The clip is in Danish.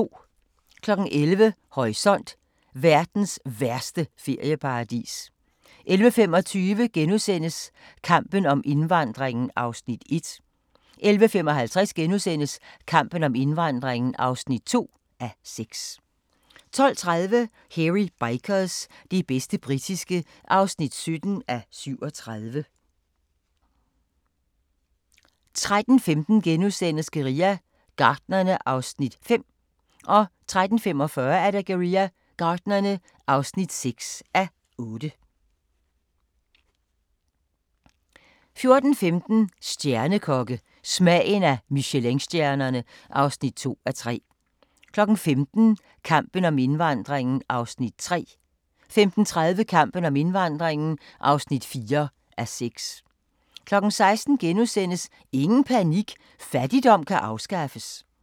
11:00: Horisont: Verdens værste ferieparadis 11:25: Kampen om indvandringen (1:6)* 11:55: Kampen om indvandringen (2:6)* 12:30: Hairy Bikers – det bedste britiske (17:37) 13:15: Guerilla Gartnerne (5:8)* 13:45: Guerilla Gartnerne (6:8) 14:15: Stjernekokke – Smagen af Michelinstjernerne (2:3) 15:00: Kampen om indvandringen (3:6) 15:30: Kampen om indvandringen (4:6) 16:00: Ingen panik – fattigdom kan afskaffes! *